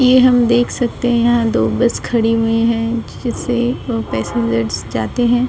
ये हम देख सकते हैं दो बस खड़ी हुई है जिसे वो पैसेंजर्स जाते है।